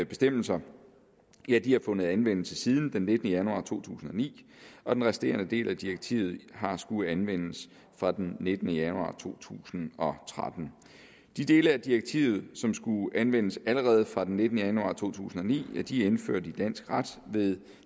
bestemmelser har fundet anvendelse siden den nittende januar to tusind og ni og den resterende del af direktivet har skullet anvendes fra den nittende januar to tusind og tretten de dele af direktivet som skulle anvendes allerede fra den nittende januar to tusind og ni er indført i dansk ret ved